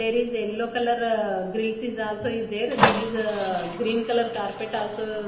there is yellow colour ah grease is also is there there is ah green colour carpet also.